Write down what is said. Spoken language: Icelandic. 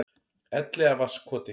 Elliðavatnskoti